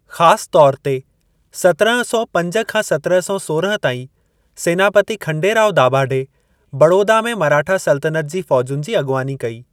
ख़ासि तौर ते, सतिरहं सौ पंज खां सतिरहं सौ सोरहं ताईं, सैनापती खंडेराव दाभाडे बड़ौदा में मराठा सल्तनत जी फ़ौजुनि जी अॻुवानी कई।